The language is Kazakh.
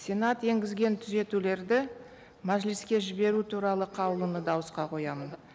сенат енгізген түзетулерді мәжіліске жіберу туралы қаулыны дауысқа қоямын